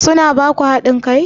Su na ba ku haɗin kai?